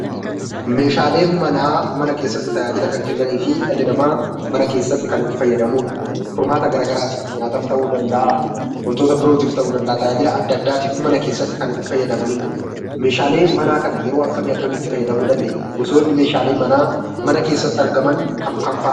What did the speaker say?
Meeshaaleen manaa mana keessatti tajaajila kan kennanii fi dhalli namaa mana keessatti kannitti fayyadamudha. Mana keessatti nulyaataf ta'uu danda’a, wantoota birootiif ta'uu danda’a tajaajila adda addaatiif mana keessatti kannitti fayyadamanidha. Meeshaalee manaa kana yeroo kam kamitti itti fayyadamuu dandeenya? Meeshaaleen manaa mana keessatti argaman kam kam fa'a?